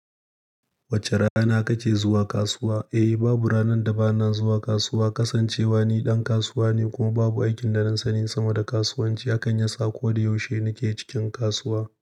Wace rana kake zuwa kasuwa? Eh, babu ranar da ba na zuwa kasuwa. Kasancewa ni ɗan kasuwa ne kuma babu aikin da na sani sama da kasuwanci, haka ya sa ko da yaushe nake cikin kasuwa.